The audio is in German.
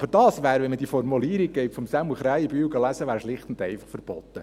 Aber dies wäre, wenn man die Formulierung von Sämu Krähenbühl liest, schlicht und einfach verboten.